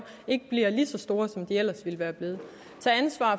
ikke bliver lige så store som de ellers ville være blevet